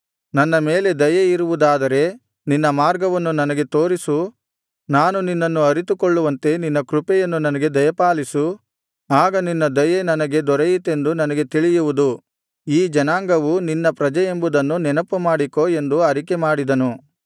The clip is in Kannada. ನನ್ನ ಮೇಲೆ ದಯೆಯಿರುವುದಾದರೆ ನಿನ್ನ ಮಾರ್ಗವನ್ನು ನನಗೆ ತೋರಿಸು ನಾನು ನಿನ್ನನ್ನು ಅರಿತುಕೊಳ್ಳುವಂತೆ ನಿನ್ನ ಕೃಪೆಯನ್ನು ನನಗೆ ದಯಪಾಲಿಸು ಆಗ ನಿನ್ನ ದಯೆ ನನಗೆ ದೊರೆಯಿತೆಂದು ನನಗೆ ತಿಳಿಯುವುದು ಈ ಜನಾಂಗವು ನಿನ್ನ ಪ್ರಜೆಯೆಂಬುದನ್ನು ನೆನಪುಮಾಡಿಕೋ ಎಂದು ಅರಿಕೆಮಾಡಿದನು